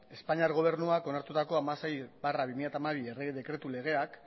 espainiar gobernuak onartutako hamasei barra bi mila hamabi errege dekretu legea